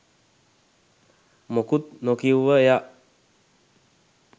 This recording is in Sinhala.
මොකුත් නොකිව්ව එයා